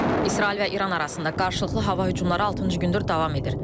İsrail və İran arasında qarşılıqlı hava hücumları altıncı gündür davam edir.